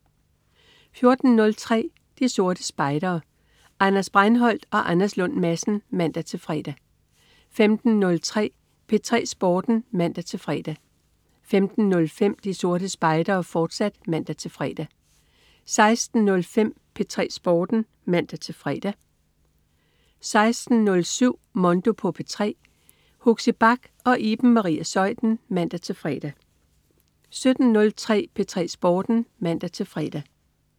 14.03 De Sorte Spejdere. Anders Breinholt og Anders Lund Madsen (man-fre) 15.03 P3 Sporten (man-fre) 15.05 De Sorte Spejdere, fortsat (man-fre) 16.05 P3 Sporten (man-fre) 16.07 Mondo på P3. Huxi Bach og Iben Maria Zeuthen (man-fre) 17.03 P3 Sporten (man-fre)